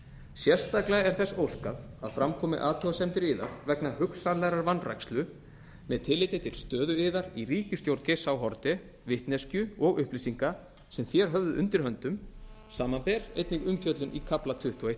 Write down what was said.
sérstaklega er þess óskað að fram komi athugasemdir yðar vegna hugsanlegrar vanrækslu með tilliti til stöðu yðar í ríkisstjórn geirs h haarde vitneskju og upplýsinga sem þér höfðuð undir höndum samanber einnig umfjöllun í kafla tuttugu og einn